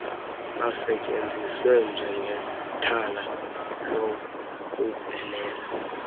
basetyenziswe njengethala lokubhenela